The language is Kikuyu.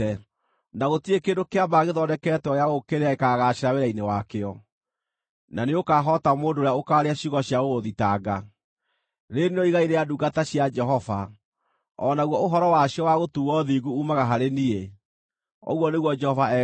na gũtirĩ kĩndũ kĩa mbaara gĩthondeketwo gĩa gũgũũkĩrĩra gĩkaagaacĩra wĩra-inĩ wakĩo, na nĩũkahoota mũndũ ũrĩa ũkaaria ciugo cia gũgũthitanga. Rĩĩrĩ nĩrĩo igai rĩa ndungata cia Jehova, o naguo ũhoro wacio wa gũtuuo thingu uumaga harĩ niĩ,” ũguo nĩguo Jehova ekuuga.